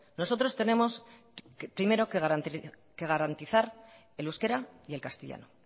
nosotros tenemos primero que garantizar el euskera y el castellano